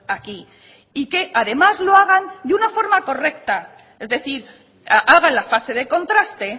aquí y que además lo hagan de una forma correcta es decir hagan la fase de contraste